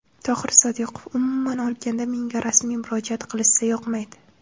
Tohir Sodiqov: Umuman olganda, menga rasmiy murojaat qilishsa yoqmaydi.